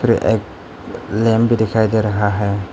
एक लैम्प भी दिखाई दे रहा है।